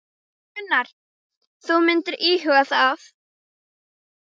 Gunnar: Þú myndir íhuga það?